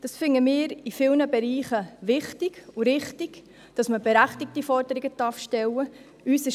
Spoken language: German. Wir finden es in vielen Bereichen wichtig und richtig, dass man berechtigte Forderungen stellen darf.